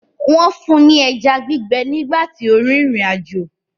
Wọ́n fún ní ẹja gbígbẹ nígbà tó ń rìnrìn àjò